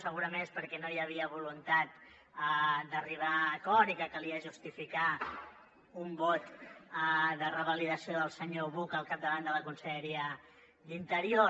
segurament perquè no hi havia voluntat d’arribar a acord i calia justificar un vot de revalidació del senyor buch al capdavant de la conselleria d’interior